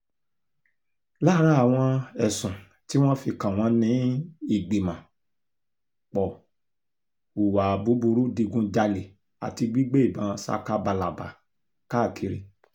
lára àwọn ẹ̀sùn tí wọ́n fi kàn wọ́n ni ìgbìmọ̀-pọ̀ hùwà búburú ìdígunjalè àti gbígbé ìbọn ṣakabàlàbà káàkiri